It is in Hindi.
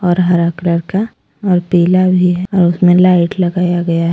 और हरा कलर का और पीला भी है और उसमें लाइट लगाया गया है।